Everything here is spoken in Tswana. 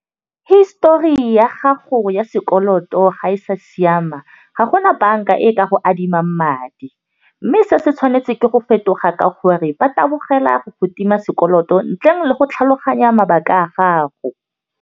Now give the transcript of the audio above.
Histori ya gago ya sekoloto ga e sa siama ga gona banka e ka go adimang madi, mme se se tshwanetse ke go fetoga ke gore, ba tabogela go go tima sekoloto ntleng le go tlhaloganya mabaka a gago.